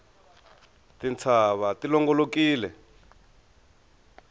tintshava ti longolokile